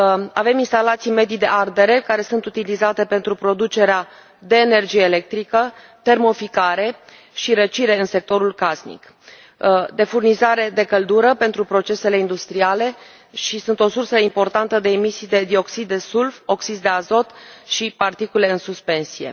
Avem instalații medii de ardere care sunt utilizate pentru producerea de energie electrică, termoficare și răcire în sectorul casnic, de furnizare de căldură pentru procesele industriale și sunt o sursă importantă de emisii de dioxid de sulf, oxizi de azot și particule în suspensie.